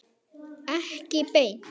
Ekki beint